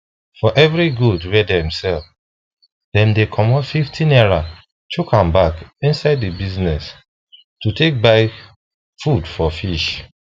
for every goat wey dem sell dem dey comot 50 naira chook am back inside the business to take buy food for fish